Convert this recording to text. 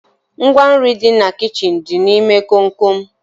Ngwa nri dị na kichin dị n'ime komkom